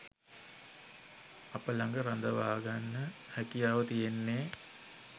අප ළඟ රඳවාගන්න හැකියාව තියෙන්නෙ.